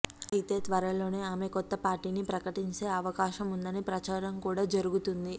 అయితే త్వరలోనే ఆమె కొత్త పార్టీని ప్రకటించే అవకాశముందని ప్రచారం కూడా జరుగుతుంది